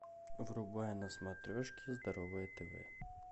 врубай на смотрешке здоровое тв